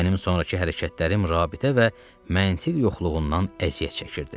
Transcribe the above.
Mənim sonrakı hərəkətlərim rabitə və məntiq yoxluğundan əziyyət çəkirdi.